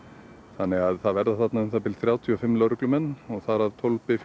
það verða þarna um það bil þrjátíu og fimm lögreglumenn þar af tólf